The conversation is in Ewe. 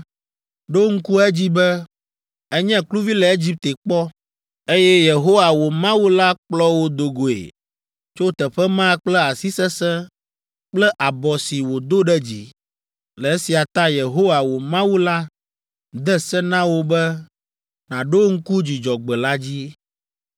Ɖo ŋku edzi be, ènye kluvi le Egipte kpɔ, eye Yehowa, wò Mawu la kplɔ wò do goe tso teƒe ma kple asi sesẽ kple abɔ si wòdo ɖe dzi. Le esia ta Yehowa, wò Mawu la de se na wò be nàɖo ŋku Dzudzɔgbe la dzi.